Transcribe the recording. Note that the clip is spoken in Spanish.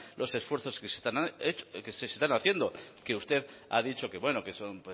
los esfuerzos que se están haciendo que usted ha dicho que bueno que